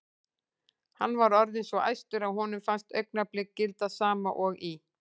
Hann var orðinn svo æstur að honum fannst augnablik gilda sama og í